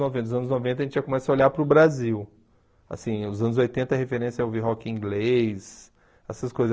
noventa. Nos anos noventa a gente já começa a olhar para o Brasil, assim, nos anos oitenta a referência é ouvir rock inglês, essas coisas.